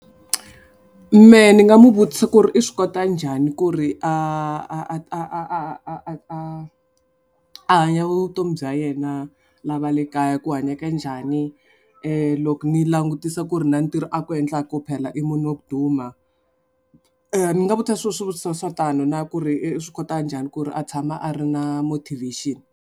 Mehe ni nga n'wi vutisa ku ri i swi kota njhani ku ri a hanya vutomi bya yena lava le kaya ku hanyaka njhani loko ni langutisa ku ri na ntirho a ku endlaku phela i munhu wa ku duma. Ni nga vutisa swivutiso swa tano na ku ri i swi kota njhani ku ri a tshama a ri na motivation.